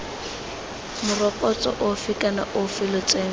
morokotso ofe kana ofe lotseno